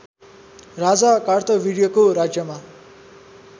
राजा कार्तविर्यको राज्यमा